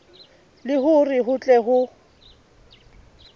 le hore ho tle ho